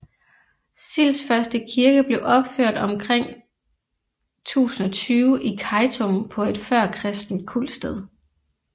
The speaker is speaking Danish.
Silds første kirke blev opført omkring 1020 i Kejtum på et førkristent kultsted